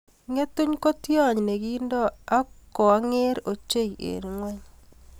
Ng'etung ko tiony ne kinto ak ko ang'er ochei eng ng'ony.